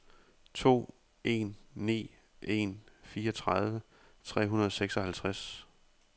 to en ni en fireogtredive tre hundrede og seksoghalvtreds